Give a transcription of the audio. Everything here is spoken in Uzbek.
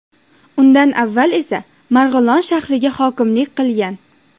Undan avval esa Marg‘ilon shahriga hokimlik qilgan.